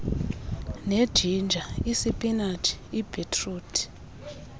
nejinja isipinatshi ibhitruthi